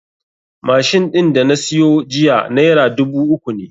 Machine ɗin da na siyo jiya naira dubu uku ne